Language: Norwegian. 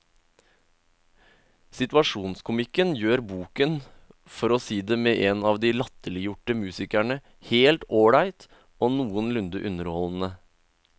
Situasjonskomikken gjør boken, for å si det med en av de latterliggjorte musikerne, helt ålreit og noenlunde underholdende.